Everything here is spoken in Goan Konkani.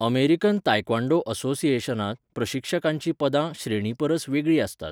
अमेरिकन तायक्वॉंडो असोसिएशनांत प्रशिक्षकांचीं पदां, श्रेणींपरस वेगळीं आसतात.